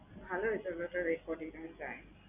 ভালোই চলতেসে রে quarrantine time